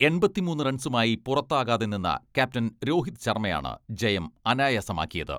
എണ്പത്തിമൂന്ന് റൺസുമായി പുറത്താകാതെ നിന്ന ക്യാപ്റ്റൻ രോഹിത് ശർമ്മയാണ് ജയം അനായാസമാക്കിയത്.